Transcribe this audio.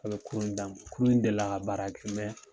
A bɛ k kurun in d'an ma kurun in delila ka baara kɛ